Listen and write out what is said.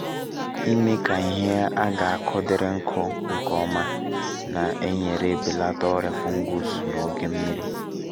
imee ka ihe a ga-akụ dịrị nkụ nke ọma na-enyere belata ọrịa fungus n’oge nmiri